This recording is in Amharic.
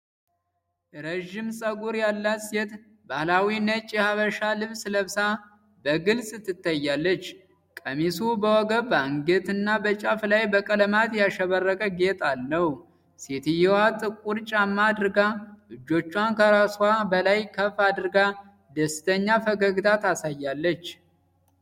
ረዥም ጸጉር ያላት ሴት ባህላዊ ነጭ የሐበሻ ልብስ ለብሳ በግልጽ ትታያለች። ቀሚሱ በወገብ፣ በአንገትጌና በጫፍ ላይ በቀለማት ያሸበረቀ ጌጥ አለው። ሴትየዋ ጥቁር ጫማ አድርጋ እጆቿን ከራስዋ በላይ ከፍ አድርጋ ደስተኛ ፈገግታ ታሳያለች።